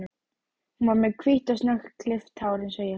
Hún var með hvítt og snöggklippt hár eins og ég.